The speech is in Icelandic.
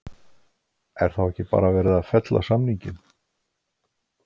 Er þá ekki bara verið að fella samninginn?